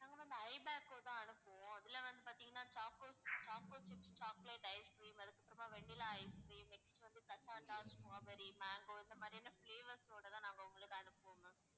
ஐபேக்கோ தான் அனுப்புவோம். இதுல வந்து பாத்தீங்கன்னா choco~, choco chips, chocolate ice cream அதுக்கப்புறம் vanilla ice cream next வந்து cassata, strawberry, mango இந்த மாதிரியான flavours ஓட நாங்க உங்களுக்கு அனுப்புவோம் ma'am